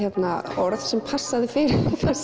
orð sem passaði fyrir